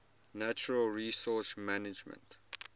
natural resource management